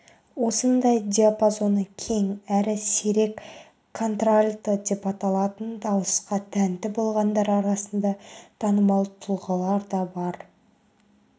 осындай диапазоны кең әрі сирек контральто деп аталатын дауысқа тәнті болғандар арасында танымал тұлғалар да бар